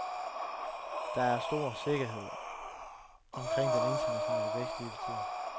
Der er stor sikkerhed omkring den internationale vækst lige for tiden.